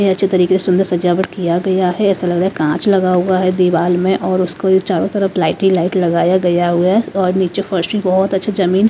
अच्छे तरीके से सुंदर सजावट किया गया है ऐसा लग रहा है कांच लगा हुआ है दीवार में और उसको चारों तरफ लाइटे ही लाइट लगाया गया है और नीचे फर्शी बहुत अच्छा जमीन।